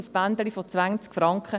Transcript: ein Bändchen von 20 Franken.